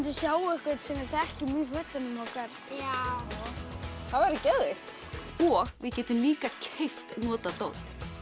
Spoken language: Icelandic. sjá einhvern sem við þekkjum í fötunum okkar já það væri geðveikt og við getum líka keypt notað dót